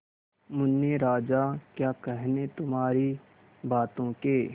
मुन्ने राजा क्या कहने तुम्हारी बातों के